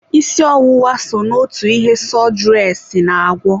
Isi ọwụwa so n'otu ihe sọdụres na-agwọ.